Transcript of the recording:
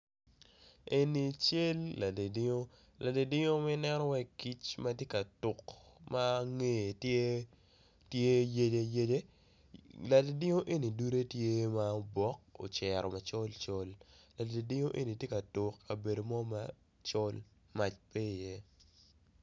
Eni cel ladidiu ladidiu nen wai kic matye ka tuk ma nge tye yece yece ladidiu eni dude tye ma obok ocero macol col ladidiu eni tye ka tuk kabedo mo macol mac pe i ye.